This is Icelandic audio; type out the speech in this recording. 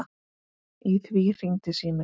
Í því hringdi síminn.